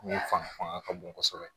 Ni fanga fanga ka bon kosɛbɛ